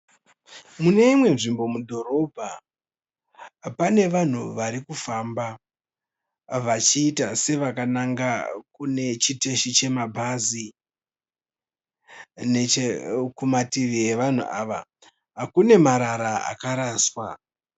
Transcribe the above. Muneimwe nzvimbo mudhorobha pane vanhu varikufamba vachiita sevakananga kunechiteshi chemabhazi. Nechekumativi evanhu ava kune marara akaraswa.